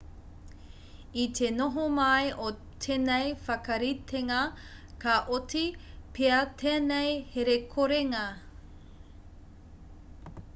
i te noho mai o tēnei whakaritenga ka oti pea tēnei herekorenga